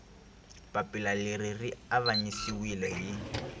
papila leri ri avanyisiwile hi